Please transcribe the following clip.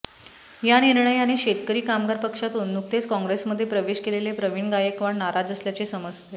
या निर्णयाने शेतकरी कामगार पक्षातून नुकतेच काँग्रेसमध्ये प्रवेश केलेले प्रवीण गायकवाड नाराज असल्याचे समजते